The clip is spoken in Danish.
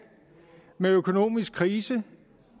med økonomisk krise